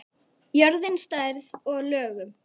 Jörðin, stærð og lögun